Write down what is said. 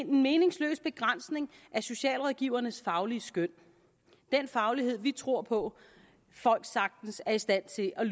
meningsløs begrænsning af socialrådgivernes faglige skøn den faglighed vi tror på folk sagtens er i stand til at